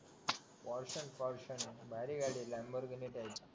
portion portion भारी गाडी लँडमार्ग ने जाईल